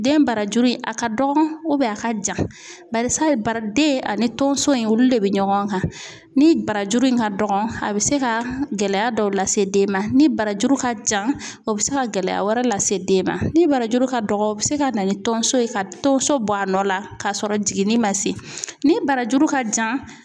Den barajuru in a ka dɔgɔ a ka jan barisa bara den ani tonso in olu de be ɲɔgɔn kan ni barajuru in ka dɔgɔn a bɛ se ka gɛlɛya dɔw lase den ma ni barajuru ka jan o bɛ se ka gɛlɛya wɛrɛ lase den ma ni barajuru ka dɔgɔ o bi se ka na ni tonso ye ka tonso bɔ a nɔ la k'a sɔrɔ jiginni man se ni barajuru ka jan